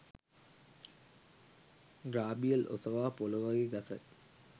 ග්‍රාබියෙල් ඔසවා පොළොවෙ ගසයි